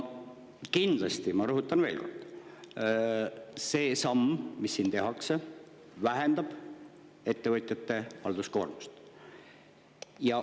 Kindlasti, ma rõhutan veel kord, see samm, mis siin tehakse, vähendab ettevõtjate halduskoormust.